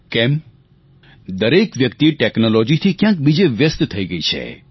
કેમ દરેક વ્યક્તિ ટેકનોલોજીથી ક્યાંક બીજે વ્યસ્ત થઈ ગઈ છે